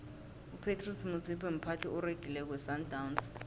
upratice motsipe mphathi oregileko wesandawnsi